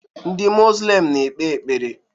Ndị muzlim na-ekpe ekpere